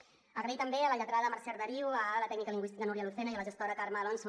donar les gràcies també a la lletrada mercè arderiu a la tècnica lingüística núria lucena i a la gestora carme alonso